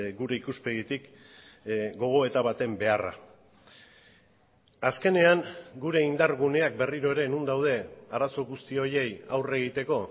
gure ikuspegitik gogoeta baten beharra azkenean gure indar guneak berriro ere non daude arazo guzti horiei aurre egiteko